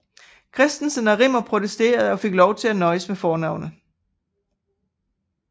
Christensen og Rimmer protesterede og fik lov til at nøjes med fornavnet